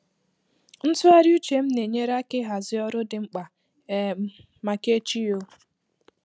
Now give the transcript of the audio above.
Ntụgharị uche m na-enyere aka ịhazi ọrụ ndi di mkpa um maka echi. um